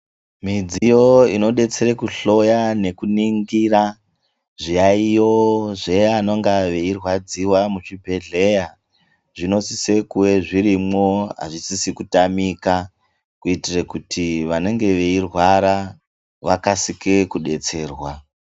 Midziyo inodetsere kuhloya nekuningira zviyaiyo zvevanonga veirwadziwa muzvibhedhleya, zvinosise kuwe zvirimwo hazvisisi kutamika kuitire kuti vanonge veirwara vakasike kudetserwa.